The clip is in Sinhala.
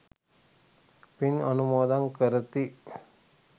පින් අනුමෝදන් කරති.